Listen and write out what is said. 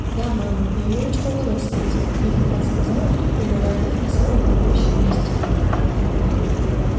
да мама я верочку у ворот встретил невпопад сказал он прерывая мать на самом волнующем месте